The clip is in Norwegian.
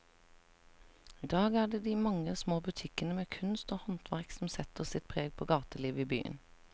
I dag er det de mange små butikkene med kunst og håndverk som setter sitt preg på gatelivet i byen.